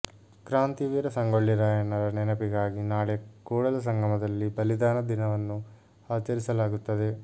ಕಾಂತಿವೀರ ಸಂಗೊಳ್ಳಿ ರಾಯಣ್ಣರ ನೆನಪಿಗಾಗಿ ನಾಳೆ ಕೂಡಲ ಸಂಗಮದಲ್ಲಿ ಬಲಿದಾನ ದಿನವನ್ನು ಆಚರಿಸಲಾಗುತ್ತದೆ